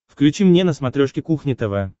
включи мне на смотрешке кухня тв